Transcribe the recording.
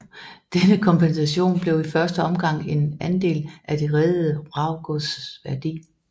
Denne kompensation blev i første omgang en andel af det reddede vraggods værdi